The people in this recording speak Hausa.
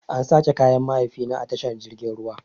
An sace kayan mahaifina a tashar jirgin ruwan.